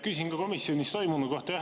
Küsin ka komisjonis toimunu kohta.